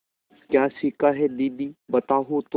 क्या सीखा है दीदी बताओ तो